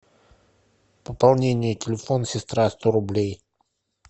пополнение телефон сестра сто рублей